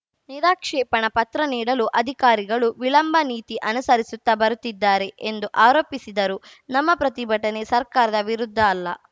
ನಿರಾಕ್ಷೇಪಣಾ ಪತ್ರ ನೀಡಲು ಅಧಿಕಾರಿಗಳು ವಿಳಂಬ ನೀತಿ ಅನುಸರಿಸುತ್ತಾ ಬರುತ್ತಿದ್ದಾರೆ ಎಂದು ಆರೋಪಿಸಿದರು ನಮ್ಮ ಪ್ರತಿಭಟನೆ ಸರ್ಕಾರದ ವಿರುದ್ಧ ಅಲ್ಲ